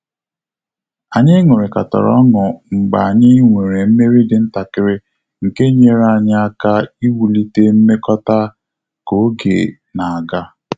Anyị ṅurikatara ọnụ mgbe anyị nwere mmeri dị ntakịrị nke nyere anyị aka iwu lite mmekota ka oge na aga